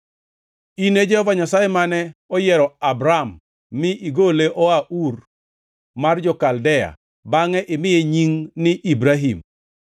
“In e Jehova Nyasaye, mane oyiero Abram mi igole oa Ur mar jo-Kaldea bangʼe imiye nying ni Ibrahim.